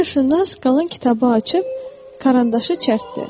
Coğrafiyaşünas qalan kitabı açıb karandaşı çərtdi.